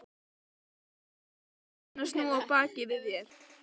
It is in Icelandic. Ekki er heimurinn alveg búinn að snúa baki við þér.